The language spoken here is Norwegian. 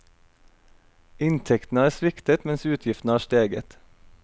Inntektene har sviktet mens utgiftene har steget.